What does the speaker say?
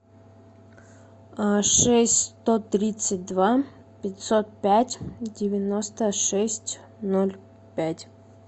шесть сто тридцать два пятьсот пять девяносто шесть ноль пять